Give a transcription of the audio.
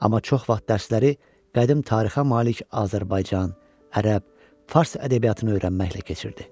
Amma çox vaxt dərsləri qədim tarixə malik Azərbaycan, ərəb, fars ədəbiyyatını öyrənməklə keçirdi.